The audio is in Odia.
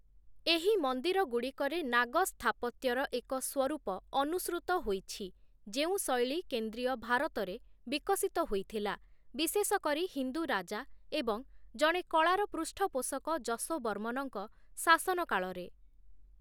ଏହି ମନ୍ଦିରଗୁଡ଼ିକରେ ନାଗ ସ୍ଥାପତ୍ୟର ଏକ ସ୍ଵରୂପ ଅନୁସୃତ ହୋଇଛି, ଯେଉଁ ଶୈଳୀ କେନ୍ଦ୍ରୀୟ ଭାରତରେ ବିକଶିତ ହୋଇଥିଲା, ବିଶେଷ କରି ହିନ୍ଦୁ ରାଜା ଏବଂ ଜଣେ କଳାର ପୃଷ୍ଠପୋଷକ ଯଶୋବର୍ମନଙ୍କ ଶାସନ କାଳରେ ।